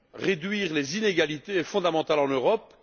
Réduire les inégalités est fondamental en Europe.